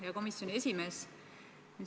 Hea komisjoni esimees!